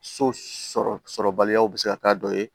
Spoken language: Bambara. So sɔrɔbaliyaw bɛ se ka k'a dɔ ye